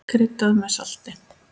Kryddað með salti.